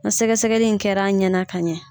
Na sɛgɛ sɛgɛli in kɛra a ɲɛna ka ɲɛ